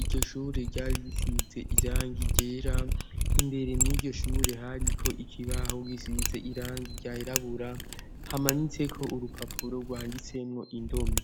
iryo shure ryarisize irangi rera imbere mwiryo shure hariko ikibaho gisize irangi ryarabura hamanitseko urupapuro rwanditsemwo indome.